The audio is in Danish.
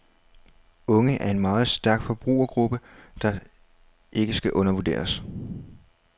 Unge er en meget stærk forbrugergruppe, der ikke skal undervurderes.